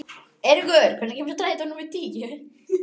Eiríkur, hvenær kemur strætó númer tíu?